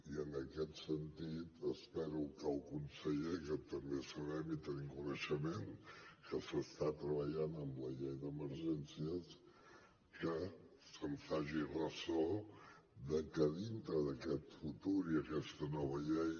i en aquest sentit espero que el conseller que també sabem i tenim coneixement que s’està treballant amb la llei d’emergències se’n faci ressò de que dintre d’aquest futur i aquesta nova llei